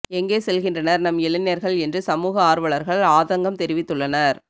எங்கே செல்கின்றனர் நம் இளைஞர்கள் என்று சமூக ஆர்வலர்கள் ஆதங்கம் தெரிவித்துள்ளனர்